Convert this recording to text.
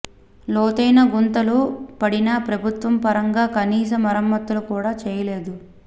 లోతైన గుంతలు పడినా ప్రభుత్వ పరంగా కనీస మరమ్మతులు కూడా చేయలేదు